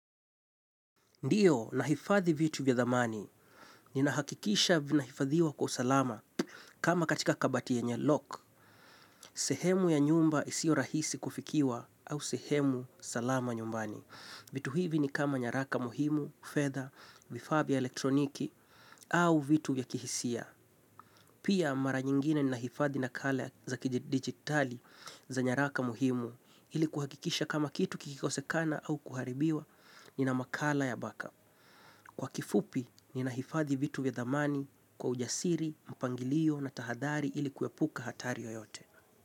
Ndiyo, ninahifadhi vitu vya thamani, nina hakikisha vina hifadhiwa kwa salama, kama katika kabati yenye loc, sehemu ya nyumba isiyo rahisi kufikiwa, au sehemu salama nyumbani. Vitu hivi ni kama nyaraka muhimu, fedha, vifaa vya elektroniki, au vitu ya kihisia. Pia mara nyingine ninahifadhi nakala za kidigitali za nyaraka muhimu, ili kuhakikisha kama kitu kikikosekana au kuharibiwa, nina makala ya backup. Kwa kifupi, ninahifadhi vitu vya thamani kwa ujasiri, mpangilio na tahadhari ili kuepuka hatari yoyote.